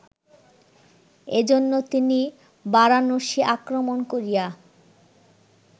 এজন্য তিনি বারাণসী আক্রমণ করিয়া